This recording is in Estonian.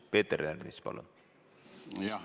Peeter Ernits, palun!